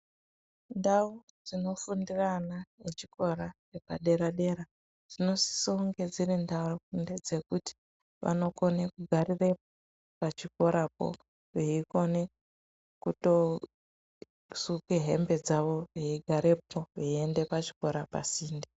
Ndau dzinofundira ana echikora epadera dera dzinosiso unge dziri ndau ndedzekuti vanokone kugarirepo pachikorapo veikone kuto suke hembe dzavo veigarepo veienda pachikora pasinde.